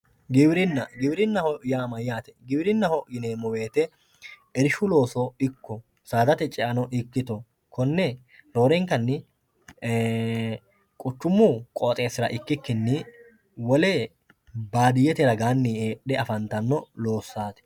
giwirinna giwirinnaho yaa mayaate giwirinnaho yineemowoyiite irshu looso ikko saadate ceano ikkito konne roorenkkanni quchumu qooxeesira ikkikkinni wole baadiyete ragaanni heexxe afantano lossaati